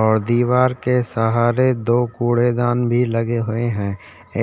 और दीवार के सहारे दो कूड़ेदान भी लगे हुए है